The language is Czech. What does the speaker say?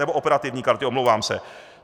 Nebo operativní karty, omlouvám se.